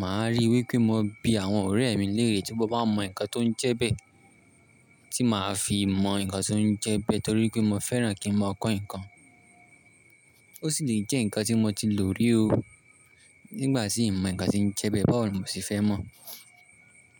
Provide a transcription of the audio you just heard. màá rí i wí pé mo bí àwọn ọ̀rẹ́ mi léèrè tí wọ́n bá mọ ǹkan tó ń jẹ bẹ, tí màá fi mọ ǹkan tó ń jẹ bẹ torí pé mo fẹ́ràn kí n máa kọ́ ǹkan. Ó sì lè jẹ́ ǹkan tí mo ti lò rí o nígbà tí ń mọ ǹkan tí ń jẹ bẹ, báwo ni mò sì fẹ́ mọ̀